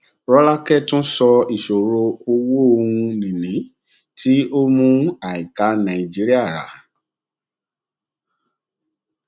rọlákẹ tún sọ ìṣòro ọwọn ohunìní tí ó mú àìká nàìjíríà rà